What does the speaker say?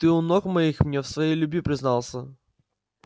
ты у ног моих мне в своей любви признался